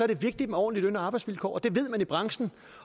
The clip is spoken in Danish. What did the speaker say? det vigtigt med ordentlige løn og arbejdsvilkår det ved man i branchen